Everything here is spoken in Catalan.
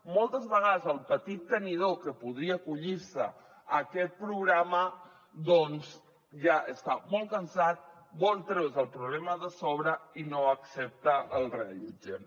moltes vegades el petit tenidor que podria acollir se a aquest programa doncs ja està molt cansat vol treure’s el problema de sobre i no accepta el reallotgem